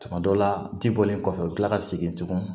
Tuma dɔ la ji bɔlen kɔfɛ u bɛ kila ka segin tugun